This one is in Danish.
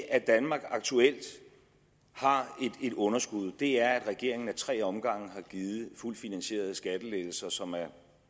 at danmark aktuelt har et underskud er at regeringen ad tre omgange har givet fuldt finansierede skattelettelser som er